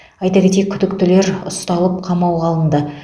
айта кетейік күдіктілер ұсталып қамауға алынды